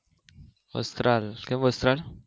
વસ્ત્રાલ કયું વસ્ત્રાલ